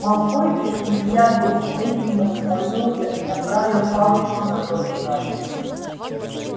малфой переведя дух этим воспользовался и направил палочку на ноги гарри